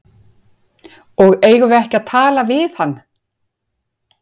Og eigum við ekki að tala við hann?